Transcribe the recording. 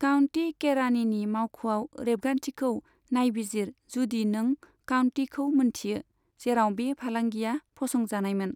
County केरानिनि मावख'आव रेबगान्थिखौ नायबिजिर जुदि नों काउन्टीखौ मोनथियो, जेराव बे फालांगिया फसंजानायमोन।